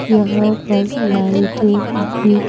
यहां पर लाइट भी--